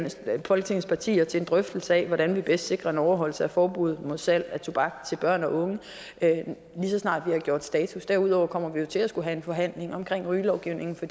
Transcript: folketingets partier til en drøftelse af hvordan vi bedst sikrer en overholdelse af forbuddet mod salg af tobak til børn og unge lige så snart vi har gjort status derudover kommer vi til at skulle have en forhandling om rygelovgivningen